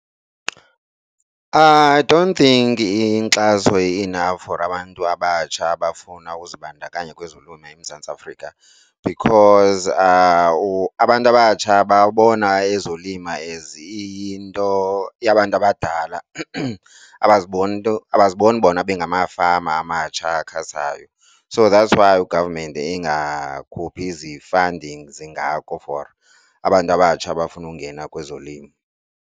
I dont think inkxaso i-enough for abantu abatsha abafuna uzibandakanya kwezolimo eMzantsi Africa because abantu abatsha babona ezolima as iyinto yabantu abadala abaziboni bona bengamafama amatsha akhasayo. So that's why u-government engakhuphi zi-fundings zingako for abantu abatsha abafuna ungena kwezolimo.